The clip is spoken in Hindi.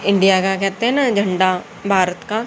इंडिया का कहते है ना झंडा भारत का--